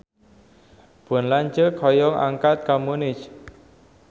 Pun lanceuk hoyong angkat ka Munich